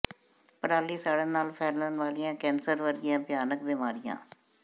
ਪਰਾਲੀ ਸਾੜਨ ਨਾਲ ਫੈਲਣ ਵਾਲੀਆਂ ਕੈੰਸਰ ਵਰਗੀਆਂ ਭਿਆਨਕ ਬਿਮਾਰੀਆਂ